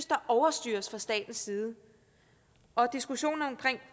der overstyres fra statens side og diskussionen om